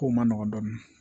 Kow man nɔgɔn dɔɔnin